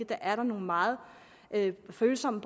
der er meget følsomme